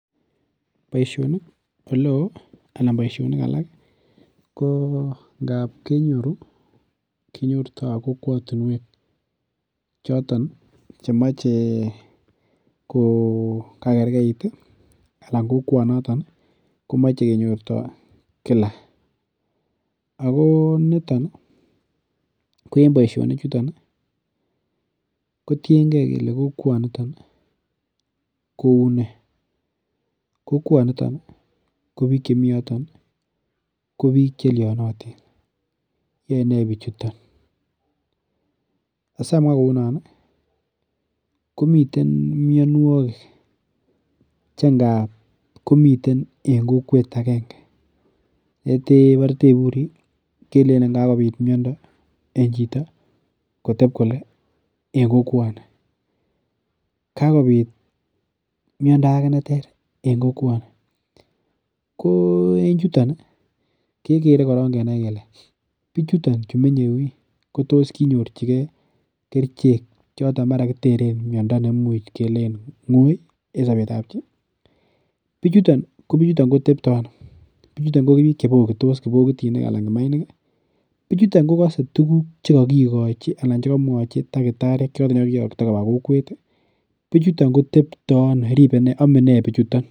Boisionik oleo anan boisionik alakko ngab kenyoru kinyorto kokwotinwek choton chemoche ko kagergeit anan kokwonotok komoche kenyortoi kila. Ago niton ko en boisionichuton kotienge kele kokwonito kou ne. Kokwanito ko biik chemi yuton ko biik chelionotin. Yoene bichuton. Asamwa kounon, komiten mianwogik che ngab komiten en kokwet agenge. Yetebore taiburi kelenin kagoit miondo en chito koteb kole en kokwoni. Kagopit miondo age neter en kokwani. Ko en chuton kekere korok kenai kele biichuton chemenye yu ii kotos kinyorchige kerichek choton mara kiteren miondo noton much kelen ngoi en sobetab chi. Biichuton, ko biichuton ko tepto ano, biichuton ko biik che bokitos. Kiibokitinik anan kimainik. Biichuton kokase tuguk che kakikochi anan che kakimuachi takitariek choton che kakiyokto koba kokwet, biichuton kotepto ano, amene biichuton.